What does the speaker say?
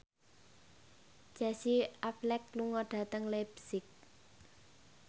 Casey Affleck lunga dhateng leipzig